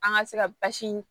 An ka se ka basi in